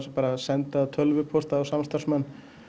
að senda tölvupóst á samstarfsmann